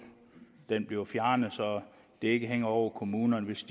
bliver fjernet så det ikke hænger over kommunernes